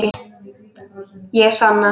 Ég sanna.